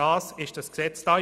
Dafür ist dieses Gesetz da.